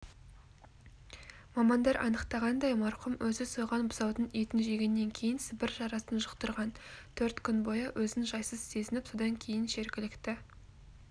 мамандар анықтағандай марқұм өзі сойған бұзаудың етін жегеннен кейін сібір жарасын жұқтырған төрт күн бойы өзін жайсыз сезініп содан кейін жергілікті